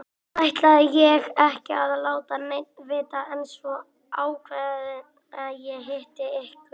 Fyrst ætlaði ég ekki að láta neinn vita en svo ákvað ég að hitta ykkur.